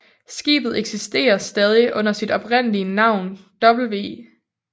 Skibet eksisterer stadig under sit oprindelige navn W